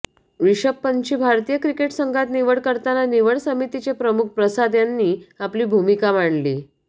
रिषभ पंतची भारतीय क्रिकेट संघात निवड करताना निवड समितीचे प्रमुख प्रसाद यांनी आपली भूमिका मांडली